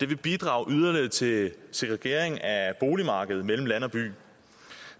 vil bidrage yderligere til segregering af boligmarkedet mellem land og by